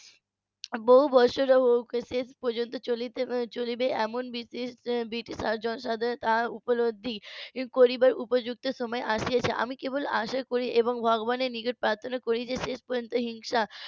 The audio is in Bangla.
বহু বছর হোক শেষ পর্যন্ত চলিতে চলিবে এমন ব্রিটিশ ব্রিটিশ . তা উপলব্ধি করিবার উপযুক্ত সময় আসিয়াছে আমি কেবল আশা করি এবং ভগবানের নিজের প্রার্থনা করি যে শেষ পর্যন্ত হিংসা